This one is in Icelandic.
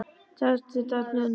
Þessu þarf að snúa við.